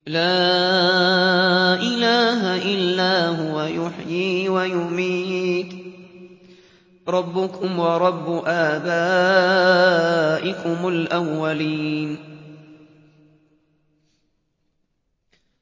لَا إِلَٰهَ إِلَّا هُوَ يُحْيِي وَيُمِيتُ ۖ رَبُّكُمْ وَرَبُّ آبَائِكُمُ الْأَوَّلِينَ